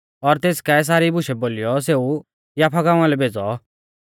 और तेस काऐ सारी बुशै बोलीयौ सेऊ याफा गांवा लै भेज़ौ